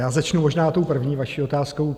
Já začnu možná tou první vaší otázkou.